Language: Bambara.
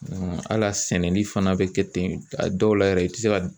al'a sɛnɛni fana bɛ kɛ ten a dɔw la yɛrɛ i tɛ se ka